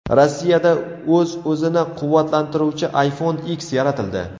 Rossiyada o‘z-o‘zini quvvatlantiruvchi iPhone X yaratildi .